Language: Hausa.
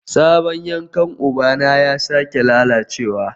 Sabon yankan ubana ya sake lalacewa